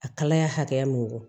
A kalaya hakɛ min don